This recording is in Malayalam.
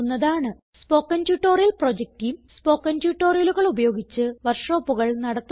spoken tutorial project team spoken ട്യൂട്ടോറിയലുകൾ ഉപയോഗിച്ച് വർക്ക് ഷോപ്പുകൾ നടത്തുന്നു